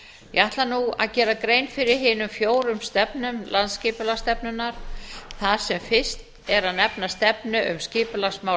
ég ætla nú að gera grein fyrir hinum fjórum stefnum landsskipulagsstefnunnar þar sem fyrst er að nefna stefnu um skipulagsmál